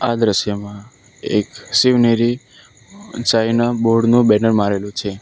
આ દ્રશ્યમાં એક શિવનેરી ચાઇના બોર્ડ નું બેનર મારેલું છે.